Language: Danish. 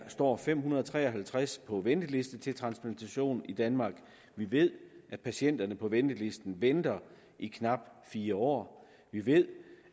står fem hundrede og tre og halvtreds på venteliste til transplantation i danmark vi ved at patienterne står på ventelisten i knap fire år vi ved